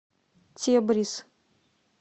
тебриз